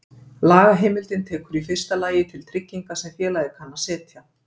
Lagaheimildin tekur í fyrsta lagi til trygginga sem félagið kann að setja.